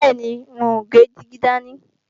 Bẹ́ẹ̀ni, n ó gbé dígí dání